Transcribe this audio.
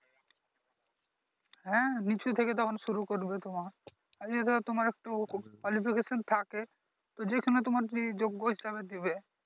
হ্যাঁ নিচু থেকে তখন শুরু করবে তোমার, আর এই জায়গায় তোমার একটু থাকে তো যেখানে তোমার যে যোগ্য হিসেবে দিবে